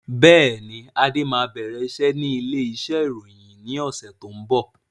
Bẹ́ẹ̀ni, Adé máa bẹ̀rẹ̀ iṣẹ́ ni ilé iṣẹ́ ìròyìn yìí ni ọ̀sẹ̀ tó ń bọ̀.